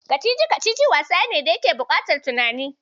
Kacici-kacici wasa ne da yake buƙataf tunani.